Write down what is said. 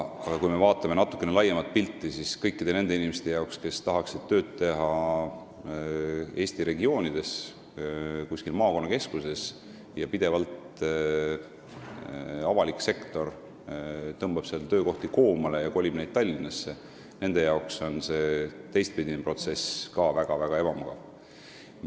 Aga kui me vaatame natukene laiemat pilti, siis kõikide nende inimeste jaoks, kes tahaksid teha tööd Eesti regioonides, kuskil maakonnakeskustes, kus avalik sektor tõmbab pidevalt töökohti koomale ja kolib neid Tallinnasse, on ka see teistpidine protsess väga-väga ebamugav.